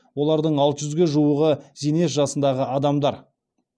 олардың алты жүзге жуығы зейнет жасындағы адамдар